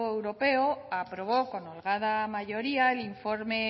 europeo aprobó con holgada mayoría el informe